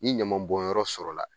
N'i ɲamanbɔnyɔrɔ sɔrɔla